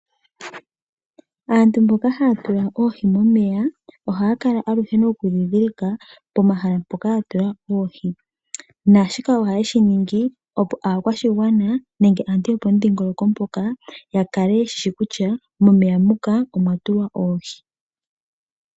Aantu mboka haya tula oohi momeya ohaya kala aluhe nokudhindhilika pomahala mpoka ya tula oohi. Shika ohaye shi ningi, opo aakwashigwana nenge aantu yopomudhingoloko mpoka ya kale ye shi shi kutya momeya muka omwa tulwa oohi.